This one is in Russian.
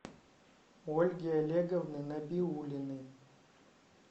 ольги олеговны набиуллиной